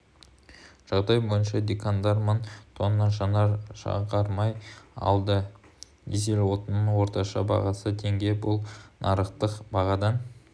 жағдай бойынша диқандар мың тонна жанар-жағармай алды дизель отынының орташа бағасы теңге бұл нарықтық бағадан